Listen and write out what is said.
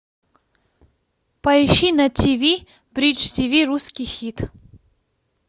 поищи на тиви бридж тиви русский хит